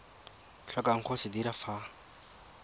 tlhokang go se dira fa